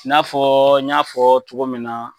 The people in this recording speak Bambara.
I nafɔ n y'afɔ cogo min na.